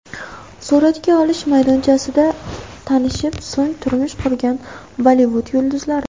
Suratga olish maydonchasida tanishib, so‘ng turmush qurgan Bollivud yulduzlari .